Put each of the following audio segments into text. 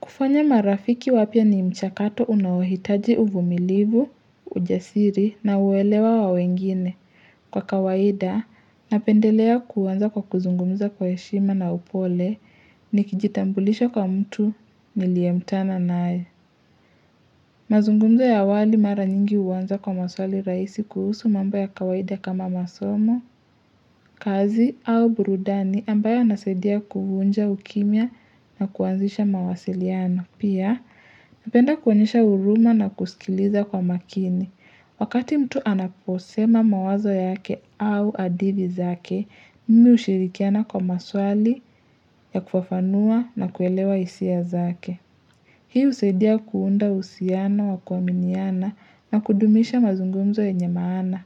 Kufanya marafiki wapya ni mchakato unaohitaji uvumilivu, ujasiri na uelewa wa wengine kwa kawaida napendelea kuanza kwa kuzungumza kwa heshima na upole ni kijitambulisha kwa mtu niliekutana naye. Mazungumzo ya awali mara nyingi huanza kwa maswali rahisi kuhusu mambo ya kawaida kama masomo, kazi au burudani ambayo yanasaidia kuvunja ukimya na kuanzisha mawasiliano. Pia, napenda kuonyesha huruma na kusikiliza kwa makini. Wakati mtu anaposema mawazo yake au hadithi zake, mimi hushirikiana kwa maswali ya kufafanua na kuelewa hisia zake. Hii husaidia kuunda uhusiano wa kuaminiana na kudumisha mazungumzo yenye maana.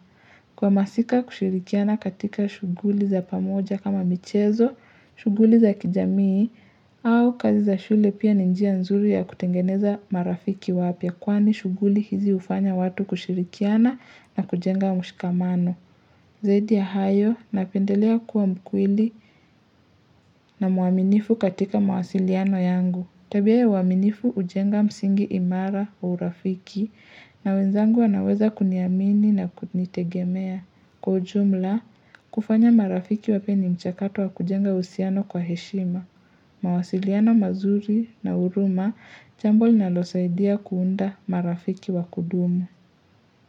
Kwa masika kushirikiana katika shughuli za pamoja kama michezo, shughuli za kijamii, au kazi za shule pia ni njia nzuri ya kutengeneza marafiki wapya kwani shughuli hizi hufanya watu kushirikiana na kujenga mshikamano. Zaidi ya hayo napendelea kuwa mkweli na mwaminifu katika mawasiliano yangu. Tabia ya uaminifu hujenga msingi imara wa urafiki na wenzangu wanaweza kuniamini na kunitegemea. Kwa ujumla, kufanya marafiki wapya ni mchakato wa kujenga uhusiano kwa heshima. Mawasiliano mazuri na huruma, jambo linalosaidia kuunda marafiki wa kudumu.